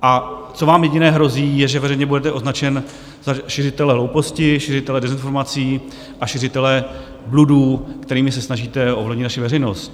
A co vám jediné hrozí, je, že veřejně budete označen za šiřitele hlouposti, šiřitele dezinformací a šiřitele bludů, kterými se snažíte ovlivnit naši veřejnost.